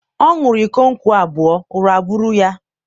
ọ ṅuru iko nkwu abua, ụra buru ya.